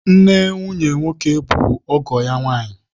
Nne nwunye nwoke bụ ọgọ ya nwaanyị